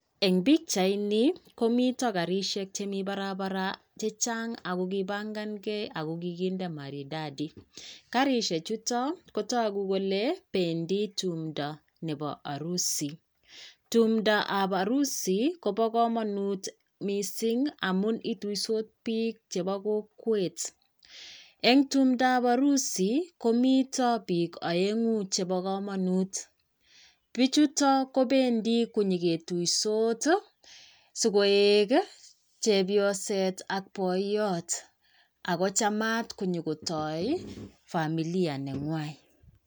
eng bichaini komiita garishek chemii barabara chechang ako kibangangee ago kikinde maridadi , garishek chutak kotaguu kolee bendii tumdo ab arusi , tumdo ab arusit koba kamanut misssing amuu itusot biik chebaa kokwet , eng tumdo ab arusiet komoita biik aengu chebaa kaamangut , bichutak kobendi nye ketuisot si koeg chepyoset ak boytot ago chamat nyo kotai familia nenywai